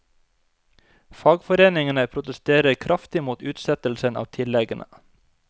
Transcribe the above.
Fagforeningene protesterer kraftig mot utsettelsen av tilleggene.